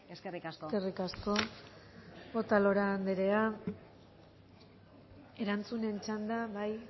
eskerrik asko eskerrik asko otalora anderea erantzunen txanda bai